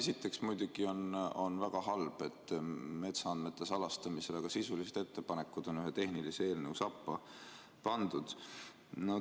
Esiteks, muidugi on väga halb, et metsaandmete salastamise väga sisulised ettepanekud on ühe tehnilise eelnõu sappa pandud.